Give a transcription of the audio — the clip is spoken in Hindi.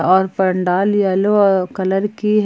और पंडाल येलो कलर अ की--